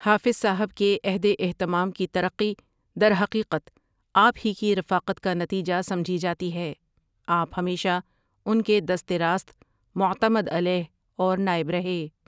حافظ صاحب کے عہد اہتمام کی ترقی درحقیقت آپ ہی کی رفاقت کا نتیجہ سمجھی جاتی ہے، آپ ہمیشہ ان کے دست راست معتمد علیہ اور نائب رہے۔